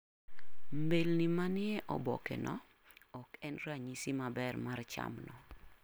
mbelni manie obokeno oken ranyis maber mar chamno.